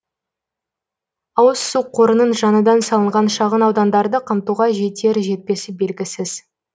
ауыз су қорының жаңадан салынған шағын аудандарды қамтуға жетер жетпесі белгісіз